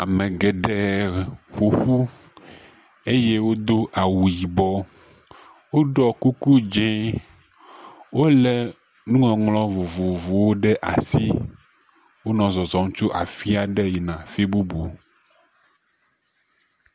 Ame geɖe ƒoƒu eye wodo awu yibɔ, woɖɔ kuku dzɛe, wolé nuŋɔŋlɔ vovovowo ɖe asi wonɔ zɔzɔm tso afi aɖe yina afi bubu.